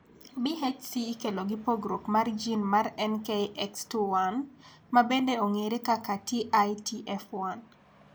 BHC ikelo gi pogruok mar gin mar NKX2 1. ma bende ong'ere kaka TITF1.